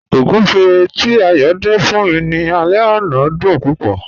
Ọ̀gúnfẹ̀ tí Ayọ́ dín fún mí ní àlẹ̀ ọ̀nà dún púpọ̀.